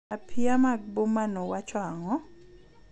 Apiaa mag bomano wacho ang'o?